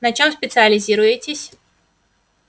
на чём специализируетесь